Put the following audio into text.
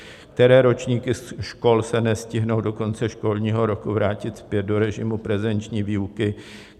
Které ročníky škol se nestihnou do konce školního roku vrátit zpět do režimu prezenční výuky?